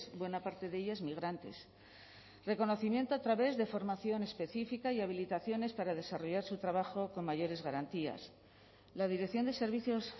buena parte de ellas migrantes reconocimiento a través de formación específica y habilitaciones para desarrollar su trabajo con mayores garantías la dirección de servicios